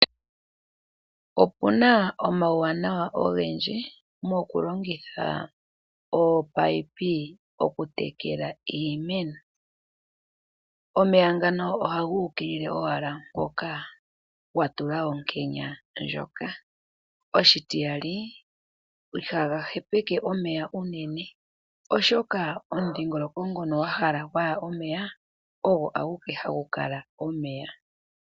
Opu na omauwanawa ogendji mokulongitha ominino oku tekela iimeno. Omeya ngano ohaga ukilile owala mpoka watula onkenya ndjoka, oshitiyali ihaga hepeke omeya unene oshoka omudhingoloko ngono wa hala gwaya omeya ogo a guke hagu kala omeya.